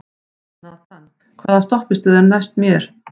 Nathan, hvaða stoppistöð er næst mér?